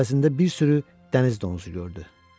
Əvəzində bir sürü dəniz donuzu gördü.